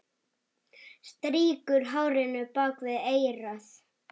Strýkur hárinu bak við eyrað.